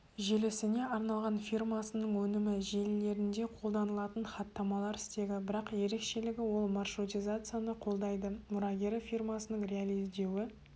желісіне арналған фирмасының өнімі желілерінде қолданылатын хаттамалар стегі бірақ ерекшелігі ол маршрутизацияны қолдайды мұрагері фирмасының реализдеуі